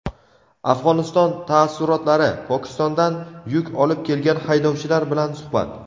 Afg‘oniston taassurotlari: Pokistondan yuk olib kelgan haydovchilar bilan suhbat.